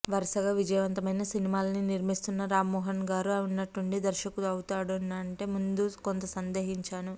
వరుసగా విజయవంతమైన సినిమాల్ని నిర్మిస్తున్న రామ్మోహన్గారు ఉన్నట్టుండి దర్శకుడవుతున్నారంటే ముందు కొంత సందేహించాను